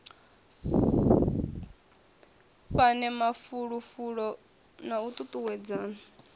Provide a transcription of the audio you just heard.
fhane mafulufulo na u tutuwedzana